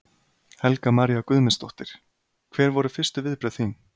Helga María Guðmundsdóttir: Hver voru fyrstu viðbrögð þín?